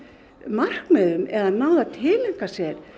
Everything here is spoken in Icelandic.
markmiðum eða náð að tileinka sér